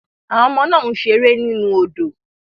Àwọn ọmọ náà ń ṣeré nínú odò